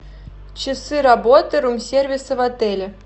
часы работы рум сервиса в отеле